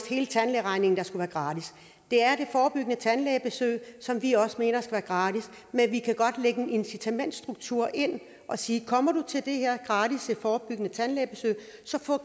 hele tandlægeregningen der skulle være gratis det er det forebyggende tandlægebesøg som vi også mener skal være gratis men vi kan godt lægge en incitamentsstruktur ind og sige kommer du til det her gratis forebyggende tandlægebesøg